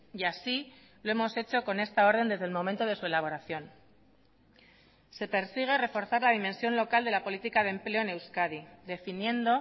y así lo hemos hecho con esta orden desde el momento de su elaboración se persigue reforzar la dimensión local de la política de empleo en euskadi definiendo